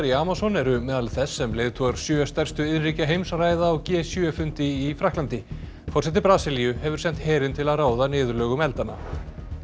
í Amazon eru meðal þess sem leiðtogar sjö stærstu iðnríkja heims ræða á g sjö fundi í Frakklandi forseti Brasilíu hefur sent herinn til að ráða niðurlögum eldanna